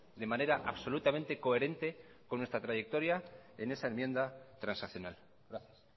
de manera absolutamente coherente con nuestra trayectoria en esa enmienda transaccional gracias